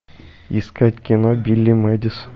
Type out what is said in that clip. искать кино билли мэдисон